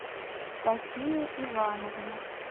софия ивановна